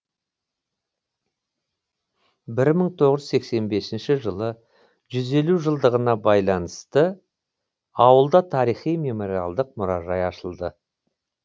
бір мың тоғыз жүз сексен бесінші жылы жүз елу жылдығына байланысты ауылда тарихи мемориалдық мұражай ашылды